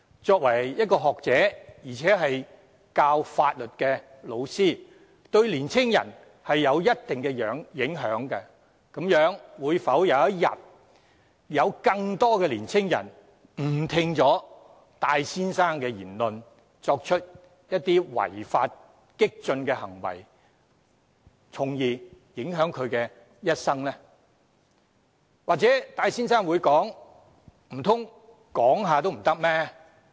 作為一位學者，而且是教授法律的教師，他對於年青人有着一定影響，會否有一天有更多年青人誤聽戴先生的言論，作出違法激進的行為，從而影響了他們的一生呢？